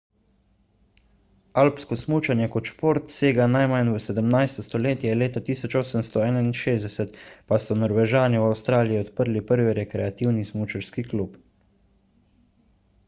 alpsko smučanje kot šport sega najmanj v 17 stoletje leta 1861 pa so norvežani v avstraliji odprli prvi rekreativni smučarski klub